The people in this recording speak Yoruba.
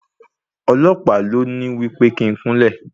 Ọlọ̀pàá ló ní wí pé kí n kúnlẹ̀.